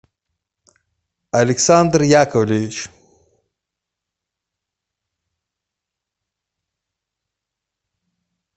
александр яковлевич